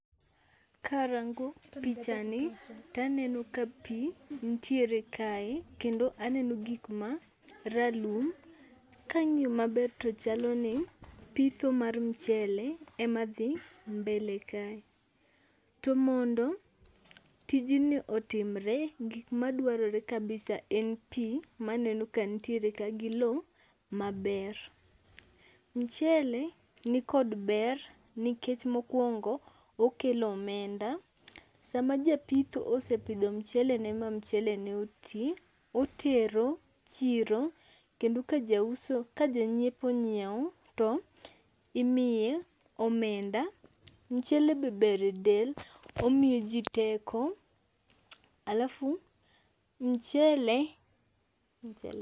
Ka arango pichani, to aneno ka pii nitiere kae, kendo aneno gik ma ralum. Ka ang'iyo maber, to chalo ni ,pitho mar mchele e ma dhi mbele kae. To mondo tijni otimre, gik madwarore kabisa en pii, ma aneno ka nitiere ka gi lowo maber. Mchele ni kod ber, nikech mokwongo, okelo omenda. Sama japitho osepidho mchelene, ma mchelene oti, otero chiro kendo ka jauso, ka janyiepo onyiewo, to imiye omenda. Mchele be ber e del, omiyo ji teko, alafu mchele.